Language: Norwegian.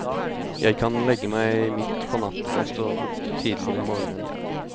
Jeg kan legge meg midt på natten og stå opp tidlig om morgenen.